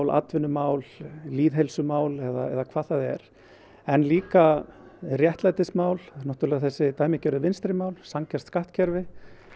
atvinnumál lýðheilsumál eða hvað það er en líka réttlætismál náttúrulega þessi dæmigerðu vinstrimál sanngjarnt skattkerfi